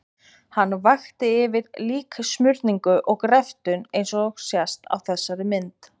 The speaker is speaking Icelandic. Hann vakti yfir líksmurningu og greftrun eins og sést á þessari mynd.